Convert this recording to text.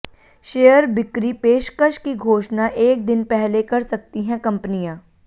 share बिक्री पेशकश की घोषणा एक दिन पहले कर सकती हैं कंपनियां